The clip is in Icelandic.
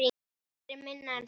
Aldrei minna en það.